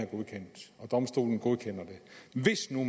godkendt og domstolen godkender det og hvis nu